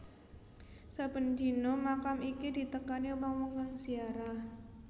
Saben dina makam iki ditekani wong wong kang ziarah